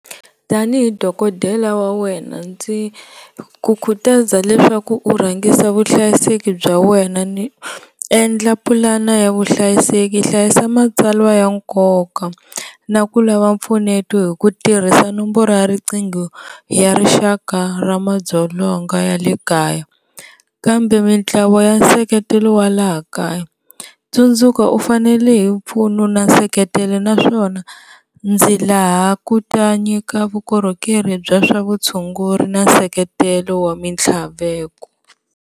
Tanihi dokodela wa wena ndzi ku khutaza leswaku u rhangisa vuhlayiseki bya wena ni endla pulana ya vuhlayiseki, hlayisa matsalwa ya nkoka na ku lava mpfuneto hi ku tirhisa nomboro ya riqingho ya rixaka ra madzolonga ya le kaya kambe mintlawa ya nseketelo wa laha kaya, tsundzuka u fanele hi mpfuno na seketelo naswona ndzi laha ku ta nyika vukorhokeri bya swa vutshunguri na seketelo wa swa mitlhaveko.